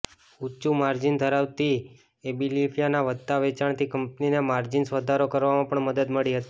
ઊંચું માર્જિન ધરાવતી એબિલિફાયના વધતા વેચાણથી કંપનીને માર્જિન્સમાં વધારો કરવામાં પણ મદદ મળી હતી